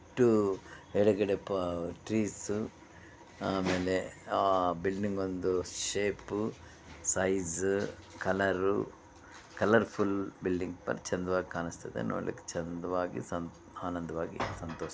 ಇದು ಎಡಗಡೆ ಟ್ರೀಸು ಆಮೇಲೆ ಆ ಬಿಲ್ಡಿಂಗ್ ಒಂದು shape size colour colourful building ಬಹಳ ಚಂದವಾಗಿ ಕಾಣುಸ್ತಾ ಇದೆ ನೋಡ್ಲಿಕ್ಕೆ ಚಂದವಾಗಿ ಆನಂದವಾಗಿ ಸಂತೋಷ --